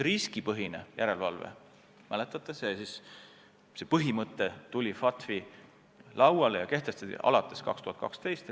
Riskipõhine järelevalve, mäletate, kehtestati FATF-is alates 2012. aastast.